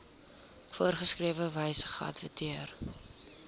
voorgeskrewe wyse geadverteer